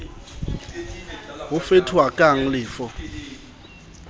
bo fetohakang le f ho